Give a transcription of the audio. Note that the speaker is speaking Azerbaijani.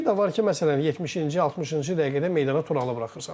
Bir də var ki, məsələn 70-ci 60-cı dəqiqədə meydana Turalı buraxırsan.